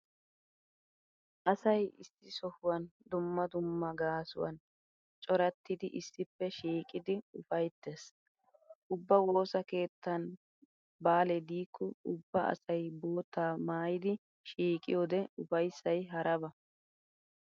Asay issi sohuwan dumma dumma gaasuwan corattidi issippe shiiqidi ufayttees. Ubba woosa keettan baalee diikko ubba asay boottaa maayidi shiiqiyode ufayssay haraba.